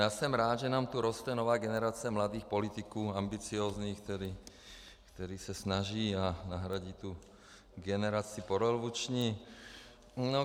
Já jsem rád, že nám tu roste nová generace mladých politiků, ambiciózních, kteří se snaží a nahradí tu generaci porevoluční.